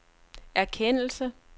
erkendelse